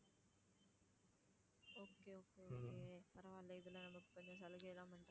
okay okay okay பரவாயில்ல இதுல நமக்கு கொஞ்சம் சலுகையெல்லாம் பண்றாங்க.